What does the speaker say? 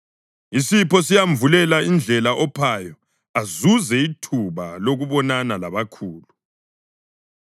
Isipho siyamvulela indlela ophayo azuze ithuba lokubonana labakhulu.